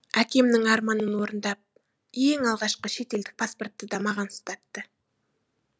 әкемнің арманын орындап ең алғашқы шетелдік паспортты да маған ұстатты